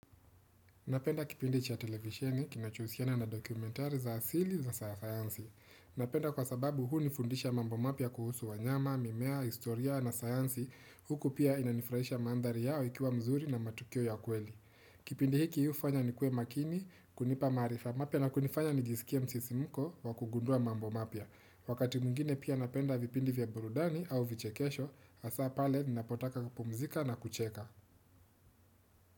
Napenda kipindi cha televisheni, kinachohusiana na dokumentari za asili za sayansi. Napenda kwa sababu hunifundisha mambo mapya kuhusu wanyama, mimea, historia na sayansi. Huku pia inanifurahisha mandali yao ikiwa mzuri na matukio ya kweli. Kipindi hiki hu fanya nikue makini, kunipa maarifa mapya na kunifanya nijisikia msisimko wa kugundua mambo mapya. Wakati mwingine pia napenda vipindi vya burudani au vichekesho, hasa pale ninapotaka kupumzika na kucheka.